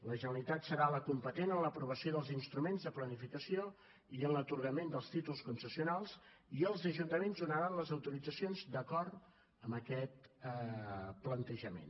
la generalitat serà la competent en l’aprovació dels instruments de planificació i en l’atorgament dels títols concessionals i els ajuntaments donaran les autoritzacions d’acord amb aquest plantejament